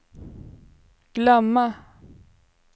glömma